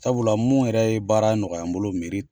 Sabula mun yɛrɛ ye baara nɔgɔya n bolo